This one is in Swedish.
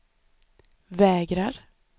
vägrar